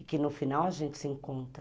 E que no final a gente se encontra.